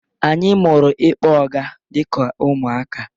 Anyị mụrụ ịkpọ ọga dịka ụmụaka.